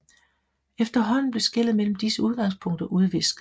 Efterhånden blev skellet mellem disse udgangspunkter udvisket